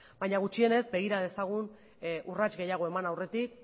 baina gutxienez begira dezagun urrats gehiago eman aurretik